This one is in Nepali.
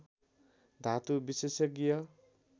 धातु विशेषज्ञ